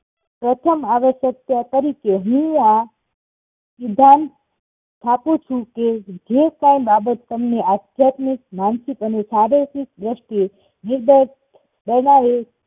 પ્રથમ અવ્યસ્ક્ત તારી કે હું આ સિધ્ધાંત સ્થાપુંછું કે જેકાંઈ બાબત તમને આધ્યાત્મિક માનસિક અને શારીરિક દ્રષ્ટિએ નીરદત કરનારી